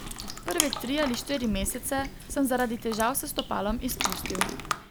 Prve tri ali štiri mesece sem zaradi težav s stopalom izpustil.